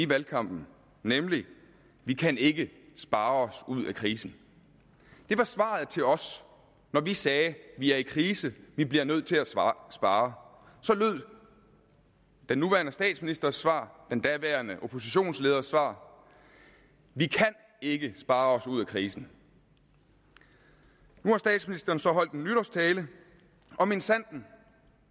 valgkampen nemlig vi kan ikke spare os ud af krisen det var svaret til os når vi sagde at vi er i krise og at vi bliver nødt til at spare så lød den nuværende statsministers svar den daværende oppositionsleders svar vi kan ikke spare os ud af krisen nu har statsministeren så holdt en nytårstale og minsandten